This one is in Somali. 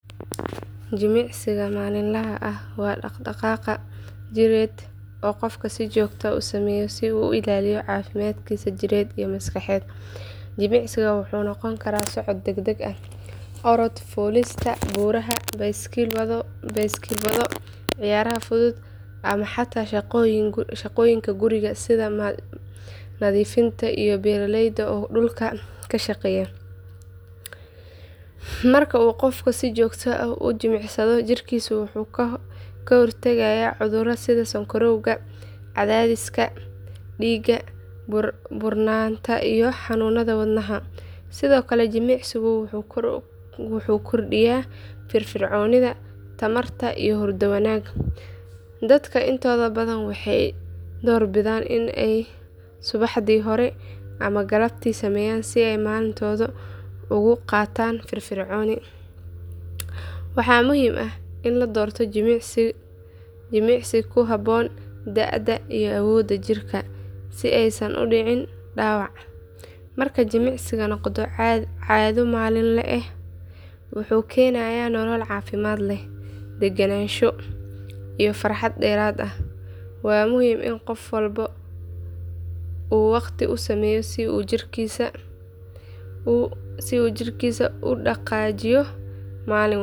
Jimicsiga maalinlaha ah waa dhaqdhaqaaq jireed oo qofku si joogto ah u sameeyo si uu u ilaaliyo caafimaadkiisa jidheed iyo maskaxeed. Jimicsiga wuxuu noqon karaa socod degdeg ah, orod, fuulista buuraha, baaskiil wado, ciyaaraha fudud ama xataa shaqooyinka guriga sida nadiifinta iyo beeraleyda oo dhulka ka shaqeeya. Marka uu qofku si joogto ah u jimicsado jirkiisa wuxuu ka hortagayaa cudurrada sida sonkorowga, cadaadiska dhiigga, buurnaanta iyo xanuunada wadnaha. Sidoo kale jimicsigu wuxuu kordhiyaa firfircoonida, tamarta iyo hurdo wanaag. Dadka intooda badan waxay doorbidaan in ay subaxdii hore ama galabtii sameeyaan si ay maalintooda ugu qaataan firfircooni. Waxaa muhiim ah in la doorto jimicsi ku habboon da'da iyo awoodda jirka si aysan u dhicin dhaawac. Marka jimicsigu noqdo caado maalinle ah wuxuu keenayaa nolol caafimaad leh, deggenaansho iyo farxad dheeraad ah. Waa muhiim in qof walba uu waqti u sameeyo si uu jirkiisa u dhaqaajiyo maalin kasta.